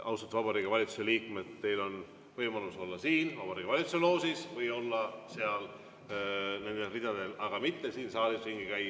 Austatud Vabariigi Valitsuse liikmed, teil on võimalus olla siin Vabariigi Valitsuse loožis või olla seal nendes ridades, aga mitte siin saalis ringi käia.